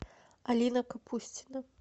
алина капустина